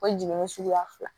O jiginni suguya fila